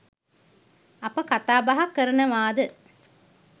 අප කතාබහ කරනවාද?